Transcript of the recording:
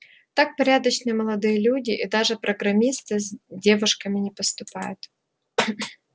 так порядочные молодые люди и даже программисты с девушками не поступают